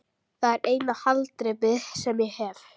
Það er eina haldreipið sem ég hef.